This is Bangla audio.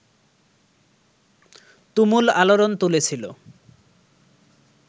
তুমুল আলোড়ন তুলেছিল